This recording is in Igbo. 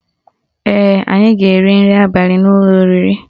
Ee, anyị ga-eri nri abali n'ụlọ oriri